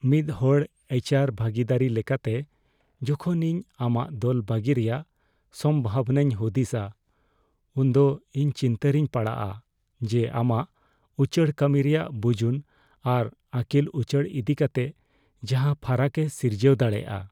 ᱢᱤᱫ ᱦᱚᱲ ᱮᱭᱤᱪ ᱟᱨ ᱵᱷᱟᱹᱜᱤᱫᱟᱹᱨᱤ ᱞᱮᱠᱟᱛᱮ, ᱡᱚᱠᱷᱚᱱ ᱤᱧ ᱟᱢᱟᱜ ᱫᱚᱞ ᱵᱟᱹᱜᱤ ᱨᱮᱭᱟᱜ ᱥᱚᱢᱵᱷᱚᱵᱚᱱᱟᱧ ᱦᱩᱫᱤᱥᱟᱹ , ᱩᱱᱫᱚ ᱤᱧ ᱪᱤᱱᱛᱟᱹ ᱨᱤᱧ ᱯᱟᱲᱟᱜᱼᱟ ᱡᱮ ᱟᱢᱟᱜ ᱩᱪᱟᱹᱲ ᱠᱟᱹᱢᱤ ᱨᱮᱭᱟᱜ ᱵᱩᱡᱩᱱ ᱟᱨ ᱟᱹᱠᱤᱞ ᱩᱪᱟᱹᱲ ᱤᱫᱤᱠᱟᱛᱮ ᱡᱟᱦᱟᱸ ᱯᱷᱟᱨᱟᱠᱮ ᱥᱤᱨᱡᱟᱹᱣ ᱫᱟᱲᱮᱭᱟᱜᱼᱟ ᱾